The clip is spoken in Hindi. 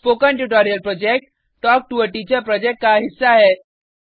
spoken tutorial project talk to a teacher project का हिस्सा है